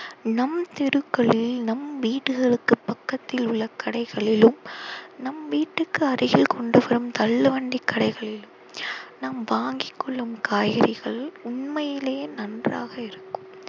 நம் தெருக்களில் நம் வீடுகளுக்கு பக்கத்தில் உள்ள கடைகளிலும் நம் வீட்டுக்கு அருகில் கொண்டு செல்லும் தள்ளுவண்டி கடைகளிலும் நாம் வாங்கிக் கொள்ளும் காய்கறிகள் உண்மையிலேயே நன்றாக இருக்கும்